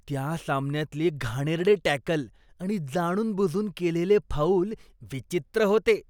त्या सामन्यातले घाणेरडे टॅकल आणि जाणूनबुजून केलेले फाऊल विचित्र होते.